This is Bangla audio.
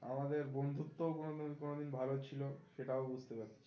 আমাদের বন্ধুত্ব কোনো দিন কোনো দিন ভালো ছিলো সেটাও বুঝতে পেরেছি